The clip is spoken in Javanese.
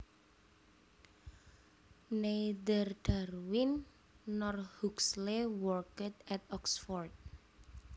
Neither Darwin nor Huxley worked at Oxford